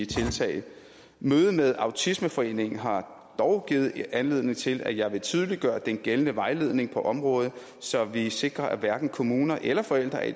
tiltag mødet med autismeforeningen har dog givet anledning til at jeg vil tydeliggøre den gældende vejledning på området så vi sikrer at hverken kommuner eller forældre er i